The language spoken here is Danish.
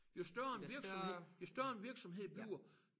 Jo større en virksomhed jo større en virksomhed bliver